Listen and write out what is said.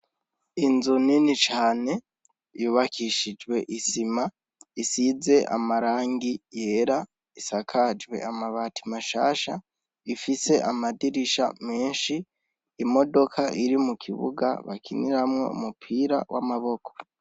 Inzu nini cane yubakishijwe isima. Isize amarangi yera, isakajwe amabati mashasha. Ifise amadirisha menshi, imodoka iri mu kibuga bakiniramwo umupira w' amaboko.